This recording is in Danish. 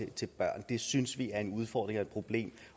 til børn det synes vi er en udfordring og et problem